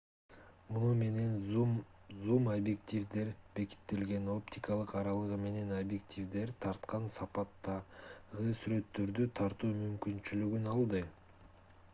муну менен зум-объективдер бекитилген оптикалык аралыгы менен объективдер тарткан сапаттагы сүрөттөрдү тартуу мүмкүнчүлүгүн алды